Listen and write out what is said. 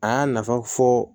A y'a nafa fɔ